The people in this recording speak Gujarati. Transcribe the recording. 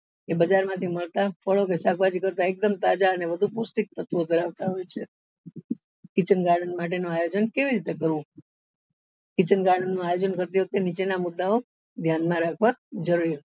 કે બજાર માં થી મળતા ફળો કે શાકભાજી કરતા એકદમ તાઝા અને વધુ પૌષ્ટિક તત્વો ધરાવતા હોય છે kitchen garden નું આયોજન કેવી રીતે કરવું kitchen garden નું આયોજન કરતી વખતે નીચેના મુદ્દા ઓ ધ્યાન માં રાખવા જરૂરી છે